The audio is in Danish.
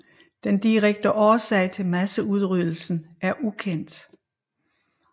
Den direkte årsag til masseudryddelsen er ukendt